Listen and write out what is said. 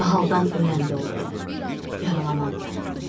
Mahaldan ölən də oldu, yaralanan da.